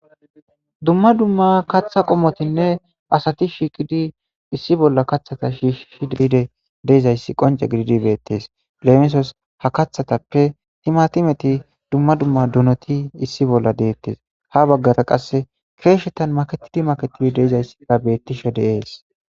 Dumma dumma kaththa qommotinne asati shiiqidi issi bolla kaththata shiishishi de'idi de'izayssi qoncce gididi beettes leemisos ha kathatappe timatimeti, dumma dumma donoti issi bolla de'ettes ha baggara qasse keeshshetan maketidi maketidi de'izayssika beettishe de'es.